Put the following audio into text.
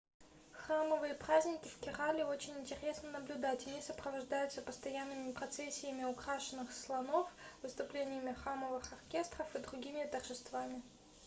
храмовые праздники в керале очень интересно наблюдать они сопровождаются постоянными процессиями украшенных слонов выступлениями храмовых оркестров и другими торжествами